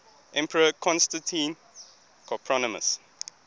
emperor constantine copronymus